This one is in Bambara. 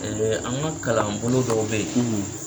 an ŋa kalan bolo dɔw be ye